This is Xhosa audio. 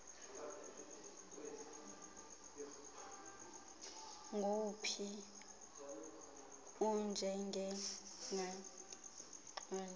nguwuphi onjengengqina lexhoba